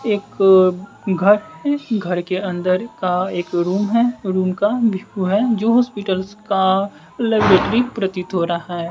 एक्क घर है घर के अंदर का एक रूम है रूम का भ्यू है जो हॉस्पिटल्स का लायबेट्रिक प्रतीत हो रहा है।